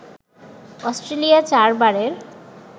Australia ৪ বারের